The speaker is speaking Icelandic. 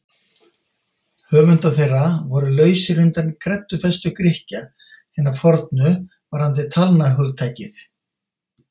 Höfundar þeirra voru lausir undan kreddufestu Grikkja hinna fornu varðandi talnahugtakið.